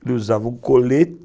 Ele usava um colete.